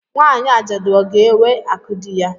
Nwanyị ajadu ọ ga ewe akụ dị ya?